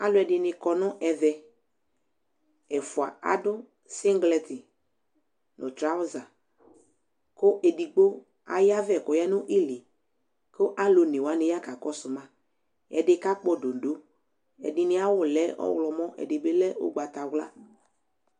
ɑluedini kɔ nu ɛve ɛfua ɑdusiglitot otsuaza ku ɛdigbo ɑyave ku ɔyanili ku ɑluonewani yakakɔsuma ɛdi kakpododo ɛdiniyawu lɛ ɔhlomo ɛdileukpatavla